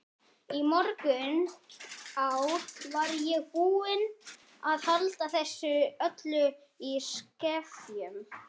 Í mörg ár var ég búin að halda þessu öllu í skefjum.